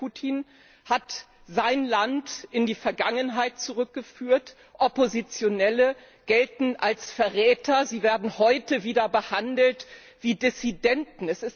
Präsident Putin hat sein Land in die Vergangenheit zurückgeführt, Oppositionelle gelten als Verräter, sie werden heute wieder behandelt wie Dissidenten.